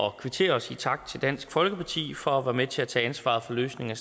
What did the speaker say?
at kvittere og sige tak til dansk folkeparti for at være med til at tage ansvar for løsningen